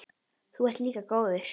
Þú ert líka góður.